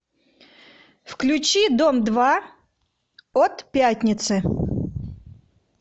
включи дом два от пятницы